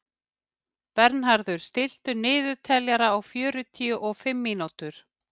Bernharður, stilltu niðurteljara á fjörutíu og fimm mínútur.